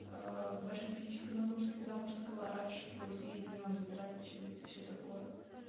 большой физической нагрузки потому что калораш твой съеденный он затрачивается и всё такое